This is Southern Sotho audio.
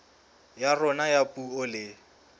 ya rona ya puo le